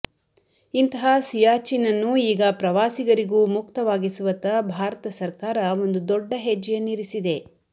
ಇಂತಹಾ ಸಿಯಾಚಿನ್ ಅನ್ನು ಈಗ ಪ್ರವಾಸಿಗರಿಗೂ ಮುಕ್ತವಾಗಿಸುವಕ್ತ್ತ ಭಾರತ ಸರ್ಕಾರ ಒಂದು ದೊಡ್ಡ ಹೆಜ್ಜೆಯನ್ನಿರಿಸಿದೆ